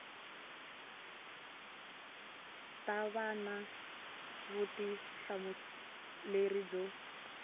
ta va na vutihlamuleri byo